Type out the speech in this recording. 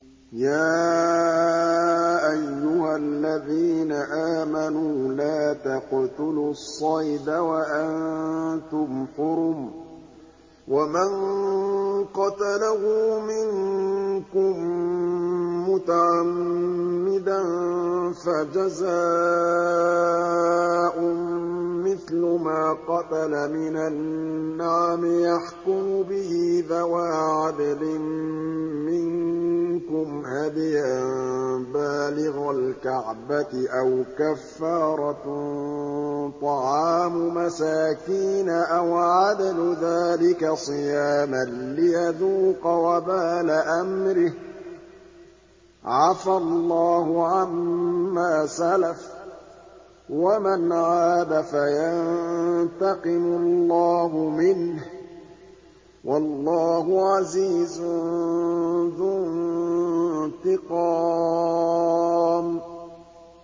يَا أَيُّهَا الَّذِينَ آمَنُوا لَا تَقْتُلُوا الصَّيْدَ وَأَنتُمْ حُرُمٌ ۚ وَمَن قَتَلَهُ مِنكُم مُّتَعَمِّدًا فَجَزَاءٌ مِّثْلُ مَا قَتَلَ مِنَ النَّعَمِ يَحْكُمُ بِهِ ذَوَا عَدْلٍ مِّنكُمْ هَدْيًا بَالِغَ الْكَعْبَةِ أَوْ كَفَّارَةٌ طَعَامُ مَسَاكِينَ أَوْ عَدْلُ ذَٰلِكَ صِيَامًا لِّيَذُوقَ وَبَالَ أَمْرِهِ ۗ عَفَا اللَّهُ عَمَّا سَلَفَ ۚ وَمَنْ عَادَ فَيَنتَقِمُ اللَّهُ مِنْهُ ۗ وَاللَّهُ عَزِيزٌ ذُو انتِقَامٍ